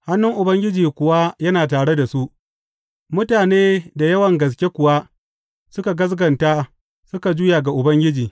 Hannun Ubangiji kuwa yana tare da su, mutane da yawan gaske kuwa suka gaskata suka juya ga Ubangiji.